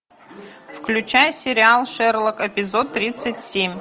включай сериал шерлок эпизод тридцать семь